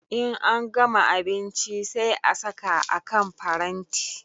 In an gama abinchi sai a saka a kan paranti